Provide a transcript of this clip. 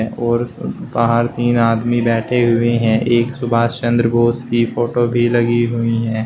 और बाहर तीन आदमी बैठे हुए हैं एक सुभाष चंद्र बोस की फोटो भी लगी हुई है।